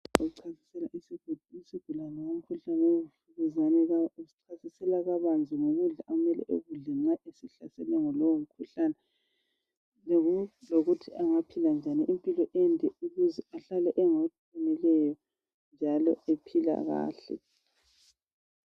Ochasisela isigulane ngomkhuhlane wenvukuzane , usichasisela kabanzi ngokudla okumele ekudle nxa esehlaselwe yilowomkhuhlane lokuthi angaphila njani impilo ende ukuze ahlale engoqinileyo njalo ephila kahle